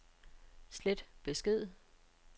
slet besked